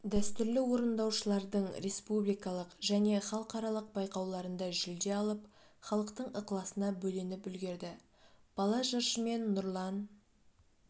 дәстүрлі орындаушылардың республикалық және халықаралық байқауларында жүлде алып халықтың ықыласына бөленіп үлгерді бала жыршымен нұрлан